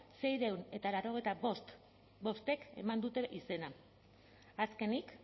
seiehun eta laurogeita bostek eman dute izena azkenik